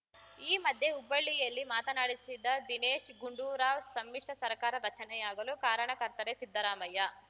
ಈ ಮಧ್ಯೆ ಹುಬ್ಬಳ್ಳಿಯಲ್ಲಿ ಮಾತನಾಡಿಸಿದ ದಿನೇಶ್‌ ಗುಂಡೂರಾವ್‌ ಸಮ್ಮಿಶ್ರ ಸರಕಾರ ರಚನೆಯಾಗಲು ಕಾರಣಕರ್ತರೇ ಸಿದ್ದರಾಮಯ್ಯ